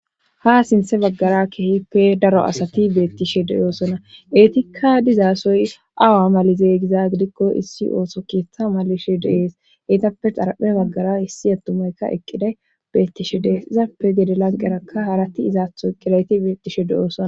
ha sinthe baggara keehippe daro asati beettishe deyoosona eetikka dizaasoy awa malizey giza gidikko issi ooso keeththa malishe dees eytappe xarape baggara issi adtumaykka eqqiday beettishe dees izappe gede lanqerakka harati izaatho eqqidayti beettishe de7oosona